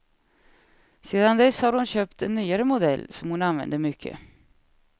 Sedan dess har hon köpt en nyare modell som hon använder mycket.